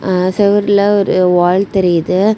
அஅ செவருல ஒரு வால் தெரியுது.